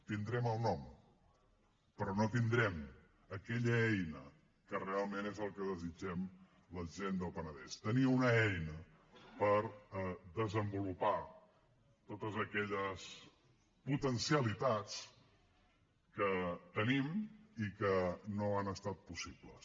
tindrem el nom però no tindrem aquella eina que realment és el que desitgem la gent del penedès tenir una eina per desenvolupar totes aquelles potencialitats que tenim i que no han estat possibles